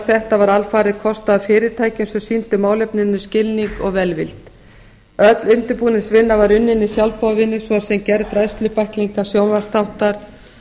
þetta var alfarið kostað af fyrirtækjum sem sýndu málefninu skilning og velvild öll undirbúningsvinna var unnin með sjálfboðavinnu svo sem gerð fræðslubæklinga sjónvarpsþáttar